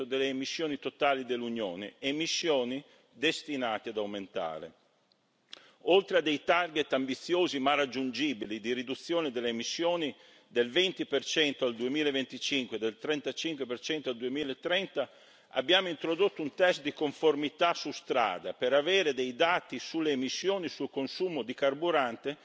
delle emissioni totali dell'Unione, emissioni destinate ad aumentare. Oltre a dei target ambiziosi ma raggiungibili di riduzione delle emissioni del 20 al 2025 e del 35 al 2030, abbiamo introdotto un test di conformità su strada per avere dei dati sulle emissioni e sul consumo di carburante